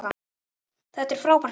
Þetta var frábært mót.